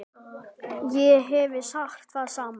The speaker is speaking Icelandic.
Ég hefði sagt það sama.